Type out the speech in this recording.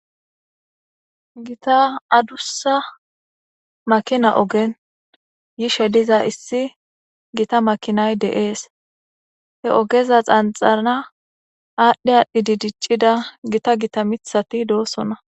Gita adusa makina ogen yishe diza issi gita makinay dees. he ogeza xanxxana aadhdhi aadhdhi diiccida gita gita miiththati doosona.